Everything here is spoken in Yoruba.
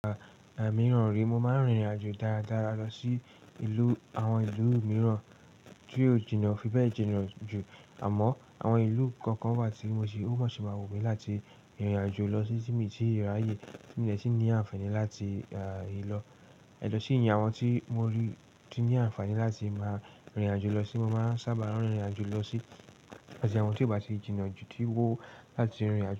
Igbamíràn re, mo máa ń rìnrìn àjò dáradára lọ sí ìlú àwọn ìlú mìíràn tí ó jìnnà, fi bẹ́ẹ̀ jìnnà jù. Àmọ́ àwọn ìlú kan kan wa ti mo si, o ma si ma wun mi láti rìn irin ajo lo si, ti mi ti raye ti mi de ti ni àǹfààní ah láti le lo ẹ̀jọ̀ sí ìyẹn àwọn tí mo rí tí ní àǹfààní láti máa rìnrìn àjò lọ sí, mo máa ń sábà rán rìnrìn àjò lọ sí. Wọn, tí o bá tí jìnnà jù tí wó láti rìnrìn àjò.